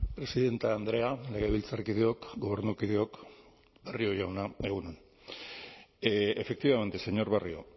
presidente andrea legebiltzarkideok gobernukideok barrio jauna egun on efectivamente señor barrio